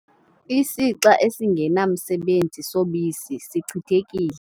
Isixa esingenamsebenzi sobisi sichithekile.